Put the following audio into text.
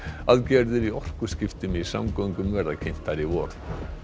aðgerðir í orkuskiptum í samgöngum verða kynntar í vor